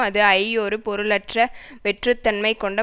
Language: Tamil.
அது ஐ ஒரு பொருளற்ற வெற்றுத்தன்மை கொண்ட